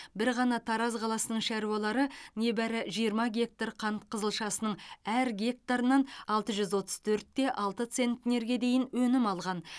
бір ғана тараз қаласының шаруалары небәрі жиырма гектар қант қызылшасының әр гектарынан алты жүз отыз төрт те алты центнерге дейін өнім алған